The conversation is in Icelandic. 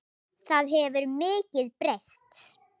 Það hefur mikið breyst.